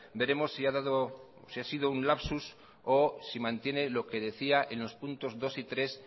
veremos si ha sido un lapsus o si mantiene lo que decía en los puntos dos y tres